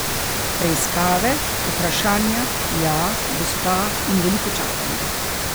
Preiskave, vprašanja, ja, gospa, in veliko čakanja.